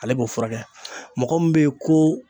Ale b'o furakɛ mɔgɔ min be yen ko